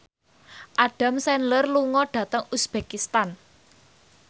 Adam Sandler lunga dhateng uzbekistan